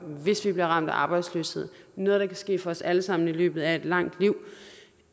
hvis de bliver ramt af arbejdsløshed det noget der kan ske for os alle sammen i løbet af et langt liv